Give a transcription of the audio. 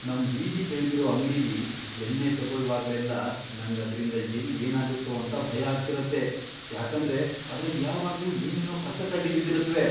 ನಮ್ ಬೀದಿ ಕೆಳ್ಗಿರೋ ಅಂಗ್ಡಿಲಿ ಎಣ್ಣೆ ತಗೊಳ್ವಾಗ್ಲೆಲ್ಲ ನಂಗ್ ಅದ್ರಿಂದ ಎಲ್ಲ್ ಏನಾಗತ್ತೋ ಅಂತ ಭಯ ಆಗ್ತಿರತ್ತೆ, ಯಾಕಂದ್ರೆ ಅದ್ರಲ್ ಯಾವಾಗ್ಲೂ ಏನೇನೋ ಕಸಕಡ್ಡಿ ಬಿದ್ದಿರತ್ವೆ.